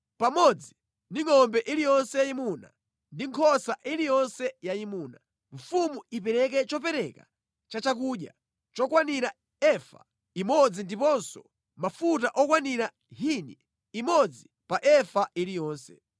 Pamodzi ndi ngʼombe iliyonse yayimuna ndi nkhosa iliyonse yayimuna, mfumu ipereke chopereka cha chakudya chokwanira efa imodzi ndiponso mafuta okwanira hini imodzi pa efa iliyonse.